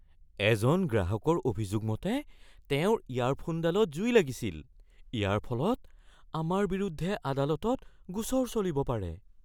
এজন গ্ৰাহকৰ অভিযোগ মতে তেওঁৰ ইয়াৰফোনডালত জুই লাগিছিল। ইয়াৰ ফলত আমাৰ বিৰুদ্ধে আদালতত গোচৰ চলিব পাৰে।